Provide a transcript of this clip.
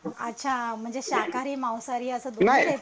अच्छा म्हणजे शाकाहारी मांसाहारी अस दोन्हीही